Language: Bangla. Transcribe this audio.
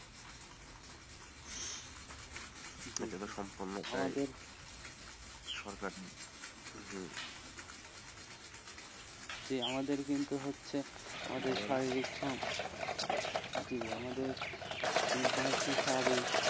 এটাতো সপূর্ন্য ভয়ের সরকারি হম আমাদের কিন্তু হচ্ছে আমাদের শারীরিক জি, আমাদের যেটা হচ্ছে শারীরিক,